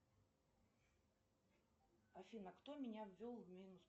афина кто меня ввел в минус